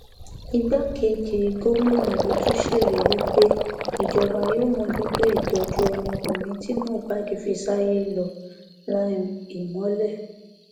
igbákejì gómìnà yìí tún ṣèlérí pé ìjọba yóò mójútó ìtọjú ọmọkùnrin tí mohbad fi sáyé lọ liam imole